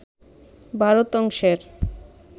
ভারত অংশের